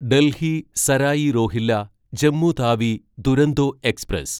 Delhi Sarai Rohilla Jammu Tawi Duronto express